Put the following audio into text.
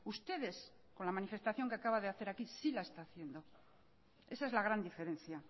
ustedes con la manifestación que acaba de hacer aquí sí la está haciendo esa es la gran diferencia